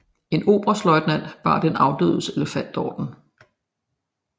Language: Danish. En oberstløjtnant bar den afdødes elefantorden